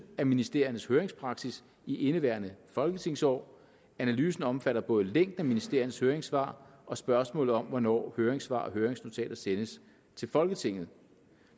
af ministeriernes høringspraksis i indeværende folketingsår analysen omfatter både længden af ministeriernes høringssvar og spørgsmålet om hvornår høringssvar og høringsnotater sendes til folketinget